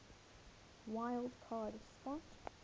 wild card spot